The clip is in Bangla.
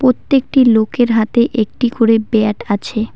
প্রত্যেকটি লোকের হাতে একটি করে ব্যাট আছে।